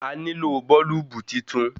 A nílò bọ́ọ́lùbù titun.